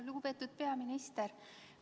Lugupeetud peaminister!